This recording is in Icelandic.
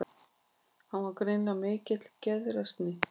Hann var greinilega í mikilli geðshræringu.